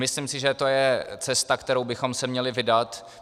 Myslím si, že to je cesta, kterou bychom se měli vydat.